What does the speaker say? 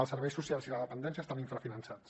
els serveis socials i la dependència estan infrafinançats